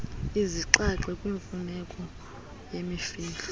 izinxaxhi kwimfuneko yemfihlo